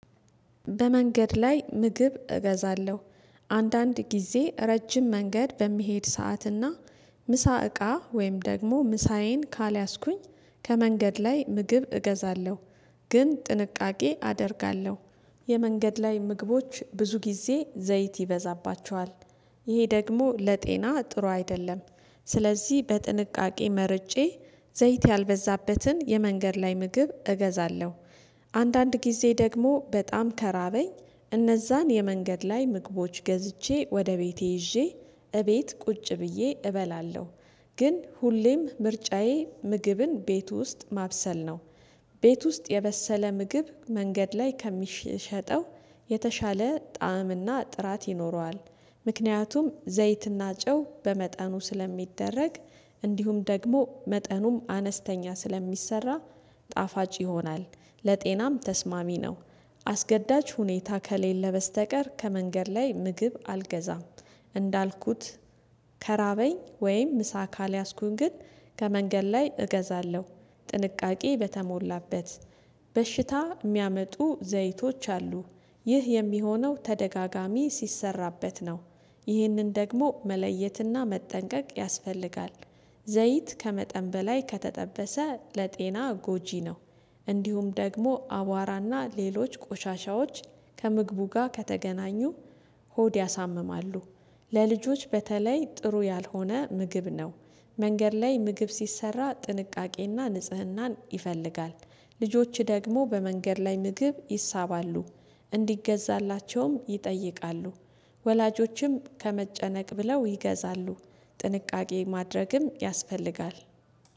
በመንገድ ላይ ምግብ እገዛለሁ። አንዳንድ ጊዜ ረጅም መንገድ በምሄድ ሰዓትና ምሳ እቃ ወይም ደግሞ ምሳዬን ካልያዝኩኝ ከመንገድ ላይ ምግብ እገዛለሁ። ግን ጥንቃቄ አደርጋለሁ። የመንገድ ላይ ምግቦች ብዙ ጊዜ ዘይት ይበዛባቸዋል። ይሄ ደግሞ ለጤና ጥሩ አይደለም። ስለዚህ በጥንቃቄ መርጬ ዘይት ያልበዛበትን የመንገድ ላይ ምግብ እገዛለሁ። አንዳንድ ጊዜ ደግሞ በጣም ከራበኝ እነዛን የመንገድ ላይ ምግቦች ገዝቼ ወደ ቤቴ ይዤ እቤት ቁጭ ብዬ እበላለሁ። ግን ሁሌም ምርጫዬ ምግብን ቤት ውስጥ ማብሰል ነው። ቤት ውስጥ የበሰለ ምግብ መንገድ ላይ ከሚሸጠው የተሻለ ጣዕምና ጥራት ይኖረዋል። ምክንያቱም ዘይትና ጨው በመጠኑ ስለሚደረግ እንዲሁም ደግሞ መጠኑም አነስተኛ ስለሚሰራ ጣፋጭ ይሆናል። ለጤናም ተስማሚ ነው። አስገዳጅ ሁኔታ ከሌለ በስተቀር ከመንገድ ላይ ምግብ አልገዛም። እንዳልኩት ከራበኝ ወይም ምሳ ካልያዝኩኝ ግን ከመንገድ ላይ እገዛለሁ። ጥንቃቄ በተሞላበት በሽታ የሚያመጡ ዘይቶች አሉ። ይህ የሚሆነው ተደጋጋሚ ሲሰራበት ነው። ይህንን ደግሞ መለየትና መጠንቀቅ ያስፈልጋል። ዘይት ከመጠን በላይ ከተጠበሰ ለጤና ጎጂ ነው። እንዲሁም ደግሞ አቧራና ሌሎች ቆሻሻዎች ከምግቡ ጋር ከተገናኙ ሆድ ያሳምማሉ። ለልጆች በተለይ ጥሩ ያልሆነ ምግብ ነው። መንገድ ላይ ምግብ ሲሰራ ጥንቃቄና ንጽህናን ይፈልጋል። ልጆች ደግሞ በመንገድ ላይ ምግብ ይሳባሉ። እንዲገዛላቸውም ይጠይቃሉ። ወላጆችም ከመጨነቅ ብለው ይገዛሉ። ጥንቃቄ ማድረግም ያስፈልጋል።